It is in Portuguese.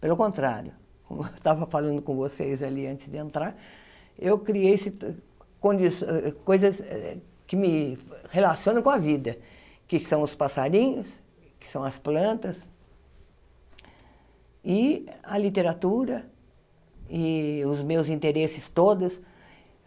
Pelo contrário, como eu estava falando com vocês ali antes de entrar, eu criei si condiçõ coisas que me relacionam com a vida, que são os passarinhos, que são as plantas, e a literatura, e os meus interesses todos.